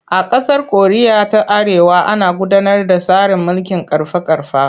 A ƙasar Koriya ta Arewa ana gudanar da tsarin mulkin ƙarfa-ƙarfa.